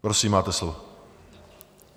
Prosím, máte slovo.